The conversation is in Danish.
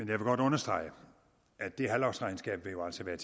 vil godt understrege at det halvårsregnskab jo altså vil